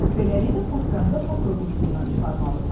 Beləliklə patkanı da patka quyusundan çıxarmalısan.